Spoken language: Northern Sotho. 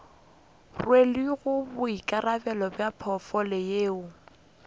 rwelego boikarabelo bja potfolio yeo